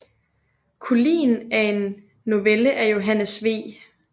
Kulien er en novelle af Johannes V